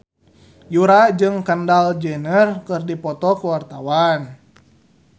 Yura jeung Kendall Jenner keur dipoto ku wartawan